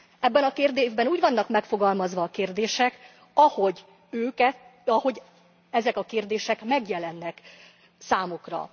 Ebben a kérdőívben úgy vannak megfogalmazva a kérdések, ahogy őket, ahogy ezek a kérdések megjelennek számukra.